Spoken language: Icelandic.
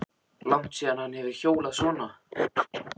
Langt síðan hann hefur hjólað svona.